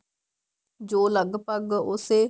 ਜੋ ਲੱਗਭਗ ਉਸੇ